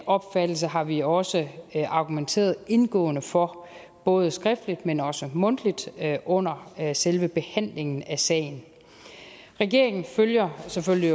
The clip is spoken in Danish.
opfattelse har vi også argumenteret indgående for både skriftligt men også mundtligt under selve behandlingen af sagen regeringen følger selvfølgelig